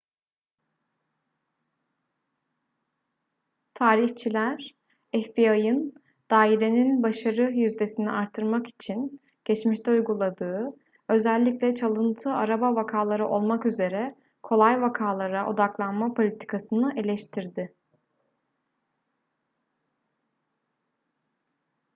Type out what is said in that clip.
tarihçiler fbi'ın dairenin başarı yüzdesini artırmak için geçmişte uyguladığı özellikle çalıntı araba vakaları olmak üzere kolay vakalara odaklanma politikasını eleştirdi